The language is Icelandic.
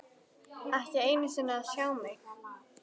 Ekki einu sinni til að sjá mig.